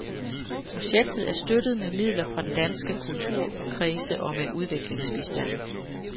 Projektet er støttet med midler fra danske kulturkredse og med udviklingsbistand.